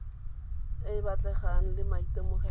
e e batlegang le maitemogelo